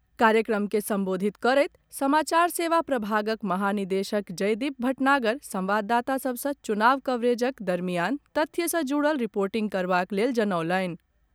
कार्यक्रम के संबोधित करैत समाचार सेवा प्रभागक महानिदेशक जयदीप भटनागर संवाददाता सभ सँ चुनाव कवरेजक दरमियान तथ्य सॅ जुड़ल रिर्पोटिंग करबाक लेल जनौलनि।